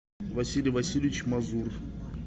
василий васильевич мазур